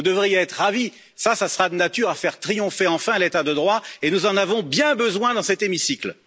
Vous devriez être ravie, ce sera de nature à faire triompher enfin l'état de droit et nous en avons bien besoin dans cet hémicycle.